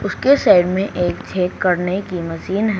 उसके साइड में एक छेद करने की मशीन है।